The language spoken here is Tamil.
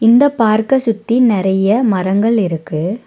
இந்த பார்க்க சுத்தி நெறைய மரங்கள் இருக்கு.